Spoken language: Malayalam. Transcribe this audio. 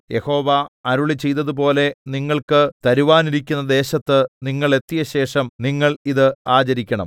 യഹോവ അരുളിച്ചെയ്തതുപോലെ നിങ്ങൾക്ക് തരുവാനിരിക്കുന്ന ദേശത്ത് നിങ്ങൾ എത്തിയശേഷം നിങ്ങൾ ഇത് ആചരിക്കണം